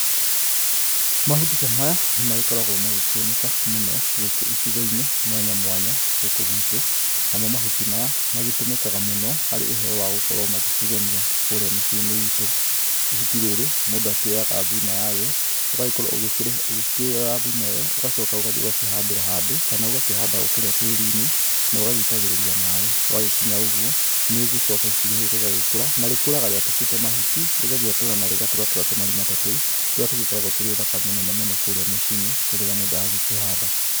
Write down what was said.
Mahuti ta maya nĩmagĩkoragwo magĩkĩoneka mũno gũkũ icigo-inĩ mwanya mwanya gũkũ gwitũ. Namo mahuti maya magĩtũmĩkaga mũno harĩ ũhoro wa gũkorwo magĩkĩgemia kũrĩa mĩciĩ-inĩ itũ. Ihuti rĩrĩ mũndũ akĩoyaga thuna yarĩo, ũgagĩkorwo ugĩkĩrĩhe ũgĩkĩoya thuna ĩyo, ũgacoka ũgathiĩ ũgakĩhandĩra handũ, kana ũgakĩhanda o kũrĩa tĩri-inĩ, nogagĩitagĩrĩria maĩ. Gwagĩkinya ũguo, nĩũgĩcoka ihuti rĩrĩ rĩragĩkũra, na rĩkũraga rĩatũkĩte mahuti, rĩgagĩatũra na rĩgatũratũra tũmarima ta tũu, tũrĩa tũgĩkoragwo tũrĩ ũthaka mũnene mũno kũrĩa muciĩ-ini, kwĩ rĩrĩa mũndũ akĩhanda.